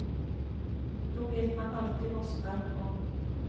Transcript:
Då vet man alltid vad som är på gång.